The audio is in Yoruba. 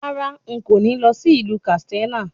Rárá, n kò ní lọ sí ìlú Kàtsínà